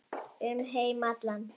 Um heim allan.